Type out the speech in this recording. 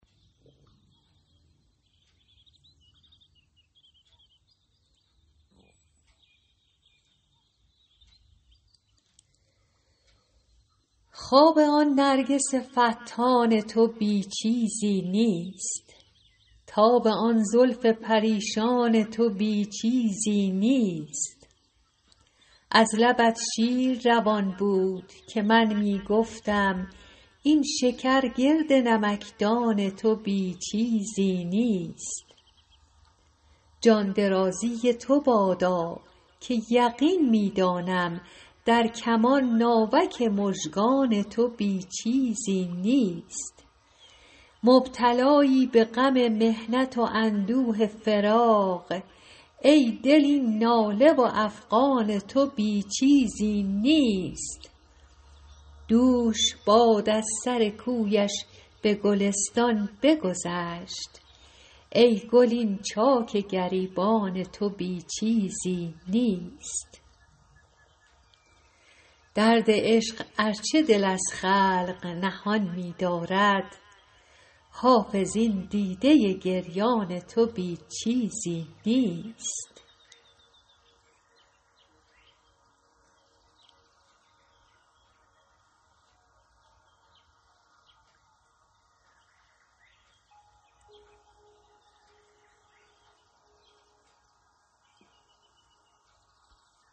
خواب آن نرگس فتان تو بی چیزی نیست تاب آن زلف پریشان تو بی چیزی نیست از لبت شیر روان بود که من می گفتم این شکر گرد نمکدان تو بی چیزی نیست جان درازی تو بادا که یقین می دانم در کمان ناوک مژگان تو بی چیزی نیست مبتلایی به غم محنت و اندوه فراق ای دل این ناله و افغان تو بی چیزی نیست دوش باد از سر کویش به گلستان بگذشت ای گل این چاک گریبان تو بی چیزی نیست درد عشق ار چه دل از خلق نهان می دارد حافظ این دیده گریان تو بی چیزی نیست